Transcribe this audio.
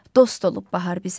Dost olub bahar bizə.